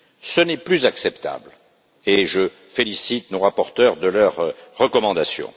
Ce n'est plus acceptable et je félicite nos rapporteurs pour leurs recommandations.